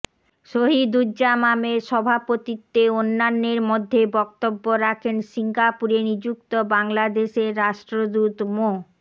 শহিদুজ্জামামের সভাপতিত্বে অন্যান্যের মধ্যে বক্তব্য রাখেন সিঙ্গাপুরে নিযুক্ত বাংলাদেশের রাষ্ট্রদূত মো